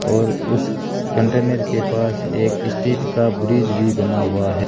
और उस कंटेनर के पास एक स्ट्रीट का ब्रिज भी बना हुआ है।